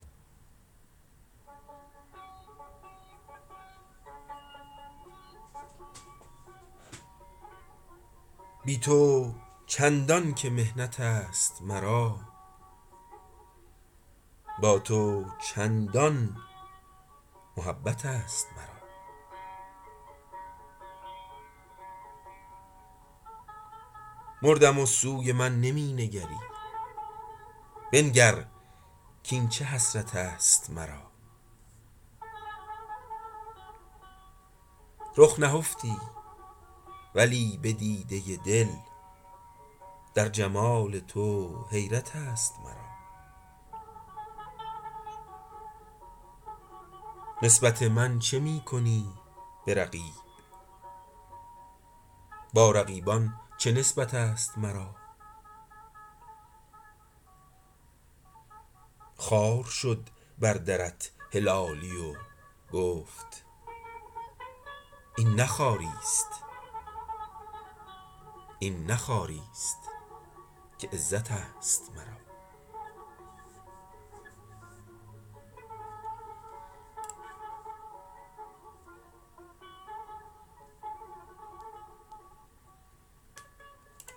بی تو چندان که محنتست مرا با تو چندان محبتست مرا مردم و سوی من نمی نگری بنگر کین چه حسرتست مرا رخ نهفتی ولی بدیده دل در جمال تو حیرتست مرا نسبت من چه می کنی برقیب با رقیبان چه نسبتست مرا خوار شد بر درت هلالی و گفت این نه خواریست عزتست مرا